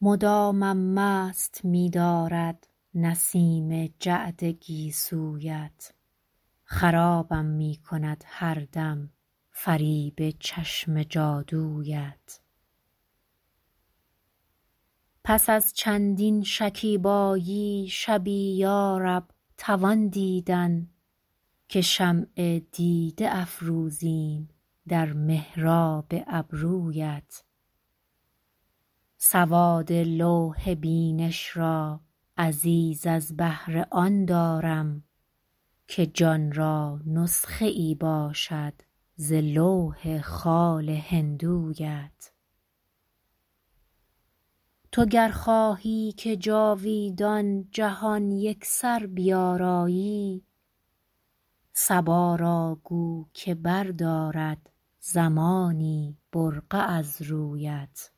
مدامم مست می دارد نسیم جعد گیسویت خرابم می کند هر دم فریب چشم جادویت پس از چندین شکیبایی شبی یا رب توان دیدن که شمع دیده افروزیم در محراب ابرویت سواد لوح بینش را عزیز از بهر آن دارم که جان را نسخه ای باشد ز لوح خال هندویت تو گر خواهی که جاویدان جهان یکسر بیارایی صبا را گو که بردارد زمانی برقع از رویت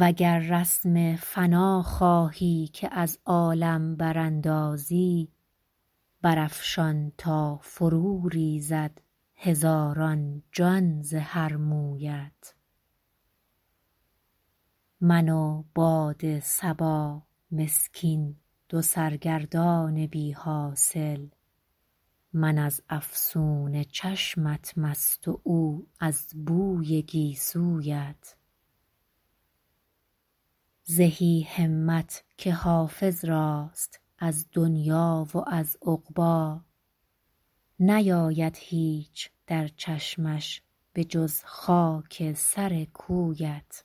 و گر رسم فنا خواهی که از عالم براندازی برافشان تا فروریزد هزاران جان ز هر مویت من و باد صبا مسکین دو سرگردان بی حاصل من از افسون چشمت مست و او از بوی گیسویت زهی همت که حافظ راست از دنیی و از عقبی نیاید هیچ در چشمش به جز خاک سر کویت